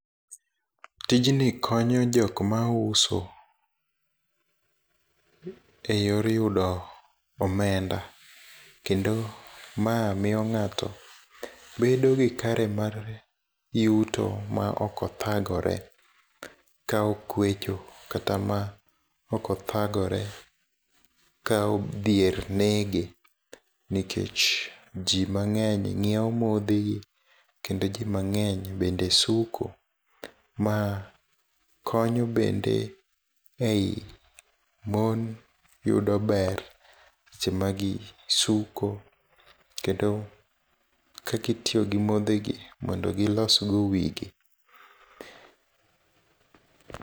Tijni konyo jok mauso, e yor yudo omenda. Kendo ma miyo ng'ato bedo gi kare mar yuto ma okothagore ka okwecho kata ma okothagore ka odhier nege. Nekech ji mang'eny ng'iewo modhi gi kendo ji mang'eny bende suko, ma konyo bende ei mon yudo ber seche ma gi suko. Kendo kakitiyo gi modhi gi mondo gilos go wigi.